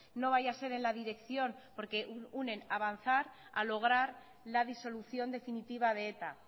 no vaya a ser en la dirección porque unen avanzar a lograr la disolución definitiva de eta